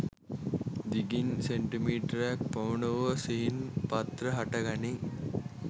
දිගින් සෙන්ටිමීටරක් පමණ වූ සිහින් පත්‍ර හටගනී.